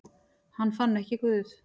Hann fann ekki Guð.